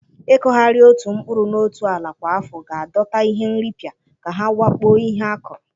Ịkụgharị otu mkpụrụ na otu ala kwa afọ ga-adọta ihe nripịa ka ha wakpo ihe a kụrụ.